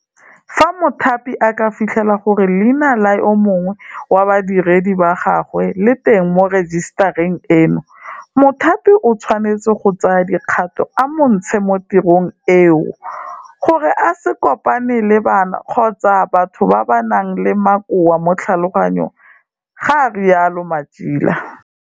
Fa mothapi a ka fitlhela gore leina la yo mongwe wa badiredi ba gagwe le teng mo rejisetareng eno, mothapi o tshwanetse go tsaya dikgato a mo ntshe mo tirong eo gore a se kopane le bana kgotsa batho ba ba nang le makoa mo tlhaloganyong ga rialo Matjila.